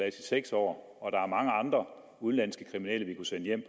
i seks år og der er mange andre udenlandske kriminelle vi kunne sende hjem